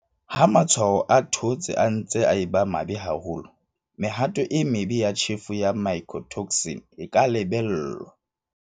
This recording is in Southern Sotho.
Ha matshwao a thootse a ntse a eba mabe haholo, mehato e mebe ya tjhefo ya mycotoxin e ka lebellwa.